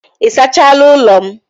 Ị sachaala ụlọ m?